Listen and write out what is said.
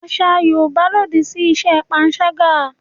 Àṣà Yorùbá lòdì sí iṣẹ́ panṣágà